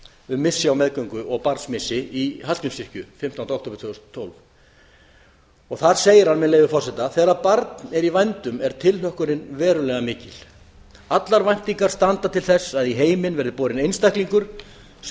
um missi á meðgöngu og barnsmissi í hallgrímskirkju fimmtánda október tvö þúsund og tólf þar segir hann með leyfi forseta þegar barn er í vændum er tilhlökkunin verulega mikil allar væntingar standa til þess að í heiminn verði borinn einstaklingur sem